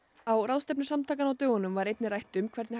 á ráðstefnu samtakanna á dögunum var einnig rætt um hvernig